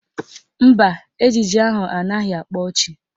Mba, ejije ahụ anaghị akpa ọchị